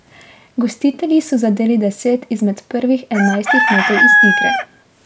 Gostitelji so zadeli deset izmed prvih enajstih metov iz igre.